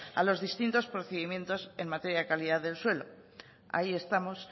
a los distintos procedimientos en materia de calidad del suelo ahí estamos